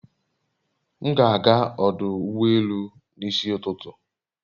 M ga ágá ọdụ ụgbọ elù n'isi ụtụtụ